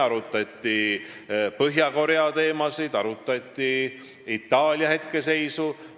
Arutati Põhja-Korea teemasid ja Itaalia hetkeseisu.